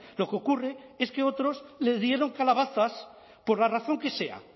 lo que ocurre es que otros les dieron calabazas por la razón que sea